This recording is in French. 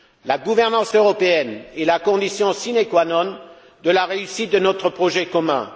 La gouvernance européenne est la condition sine qua non de la réussite de notre projet commun.